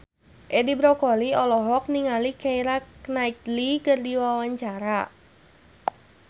Edi Brokoli olohok ningali Keira Knightley keur diwawancara